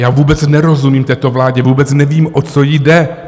Já vůbec nerozumím této vládě, vůbec nevím, o co jí jde.